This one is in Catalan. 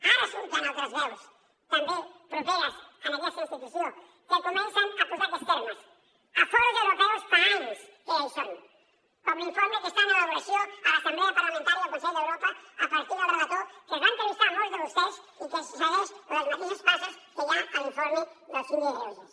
ara surten altres veus també properes a aquesta institució que comencen a posar aquests termes a fòrums europeus fa anys que ja hi són com l’informe que està en elaboració a l’assemblea parlamentària del consell d’europa a partir del relator que es va entrevistar amb molts de vostès i que segueix les mateixes passes que hi ha a l’informe del síndic de greuges